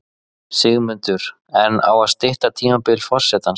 Sigmundur: En á að stytta tímabil forsetans?